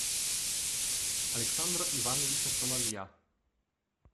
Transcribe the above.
александра ивановича соловья